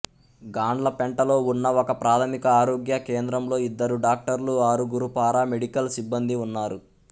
గాండ్లపెంటలో ఉన్న ఒకప్రాథమిక ఆరోగ్య కేంద్రంలో ఇద్దరు డాక్టర్లు ఆరుగురు పారామెడికల్ సిబ్బందీ ఉన్నారు